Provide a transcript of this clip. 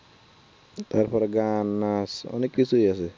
তারপরে গান নাচ অনেক কিছু আছে